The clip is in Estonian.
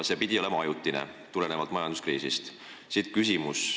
See tõus pidi olema ajutine, ainult majanduskriisi tõttu.